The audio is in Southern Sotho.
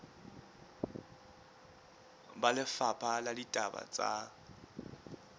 ba lefapha la ditaba tsa